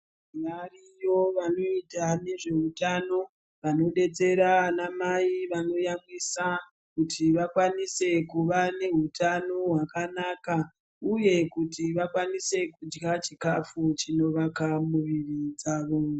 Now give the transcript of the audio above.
Variyo vanoita ngezveutano vanodetsera vana Mai vanoyamwisa kuti vakwanise kuva nehutano hwakanaka uye kuti vakwanise kudya chikafu chinovaka muviri dzavo.